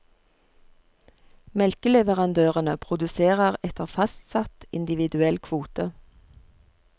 Melkeleverandørene produserer etter fastsatt individuell kvote.